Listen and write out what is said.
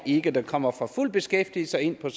ikke der kommer fra fuld beskæftigelse og